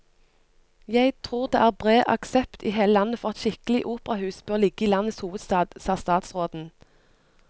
Jeg tror det er bred aksept i hele landet for at et skikkelig operahus bør ligge i landets hovedstad, sa statsråden.